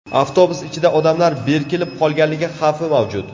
Avtobus ichida odamlar berkilib qolganligi xavfi mavjud.